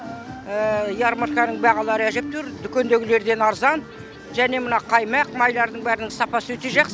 ярмарканың бағалары әжептәуір дүкендегілерден арзан және мына қаймақ майлардың бәрінің сапасы өте жақсы